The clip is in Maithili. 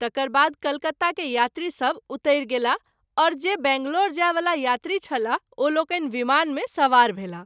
तकर बाद कलकत्ता के यात्री सभ उतरि गेलाह और जे बैंगलोर जाय वला यात्री छलाह ओ लोकनि विमान मे सवार भेलाह।